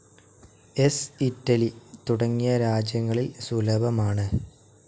S., Italy തുടങ്ങിയ രാജ്യങ്ങളിൽ സുലഭമാണ്.